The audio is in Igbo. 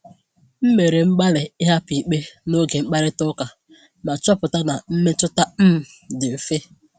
M mere mgbalị ịhapụ ikpe n’oge mkparịta ụka, ma chọpụta na mmetụta um m dị mfe.